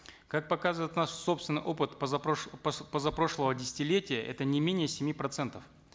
как показыает наш собственный опыт позапрошлого десятилетия это не менее семи процентов